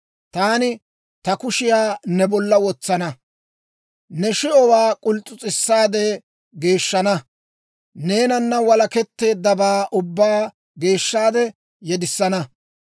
Taani ta kushiyaa ne bolla wotsana; ne shi'owaa k'uls's'us's'issaade geeshshana; neenana walaketteeddabaa ubbaa geeshshaade yedissana.